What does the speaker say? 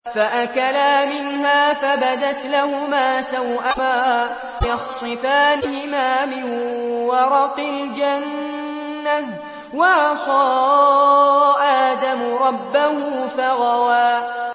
فَأَكَلَا مِنْهَا فَبَدَتْ لَهُمَا سَوْآتُهُمَا وَطَفِقَا يَخْصِفَانِ عَلَيْهِمَا مِن وَرَقِ الْجَنَّةِ ۚ وَعَصَىٰ آدَمُ رَبَّهُ فَغَوَىٰ